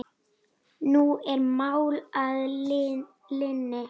Nú er mál að linni.